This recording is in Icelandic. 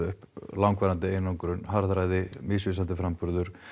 langvarandi einangrun harðræði misvísandi framburður